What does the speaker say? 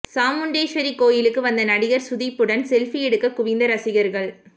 சாமுண்டீஸ்வரி கோயிலுக்கு வந்த நடிகர் சுதீப்புடன் செல்பி எடுக்க குவிந்த ரசிகர்கள்